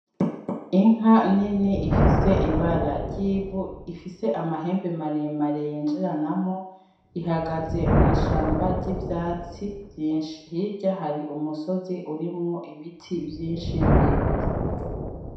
Inka nini ifise ibara ry'ivu ifise amahembe maremare yinjiranamwo, ihagaze mw'ishamba ry'ivyatsi vyinshi, hirya hari umusozi urimwo ibiti vyinshi birebire.